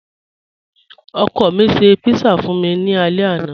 Ọkọ mi ṣẹ̀ pizza fun mi ni àlẹ̀ àná.